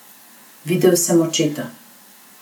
Videl sem očeta.